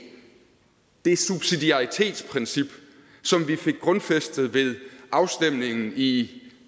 det subsidiaritetsprincip som vi fik grundfæstet ved afstemningen i